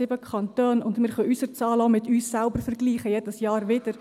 Wir können unsere Zahlen auch mit uns selbst vergleichen, jedes Jahr wieder.